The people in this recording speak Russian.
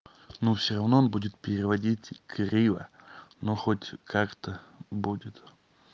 ну все равно он будет переводить криво но хоть как-то будет